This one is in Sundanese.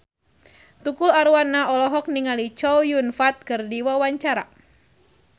Tukul Arwana olohok ningali Chow Yun Fat keur diwawancara